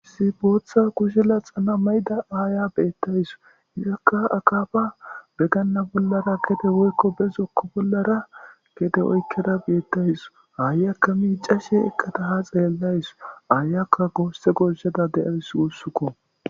si bootha kushila xana mayda aaya beettays izakka akaba beganna bollara gede woykko bezokko bollara gede oykkeda beettays aayakka miicashe eqqataha xeellays aayakka goosse gorshada deyays wossukko